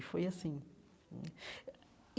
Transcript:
E foi assim hum.